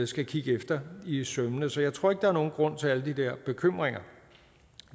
skal kigge efter i sømmene så jeg tror ikke der er nogen grund til alle de der bekymringer